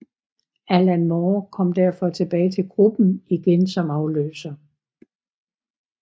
Alan Moore kom derfor tilbage til gruppen igen som afløser